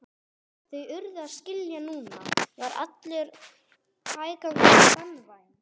Þau urðu að skilja að núna var allur hægagangur banvænn.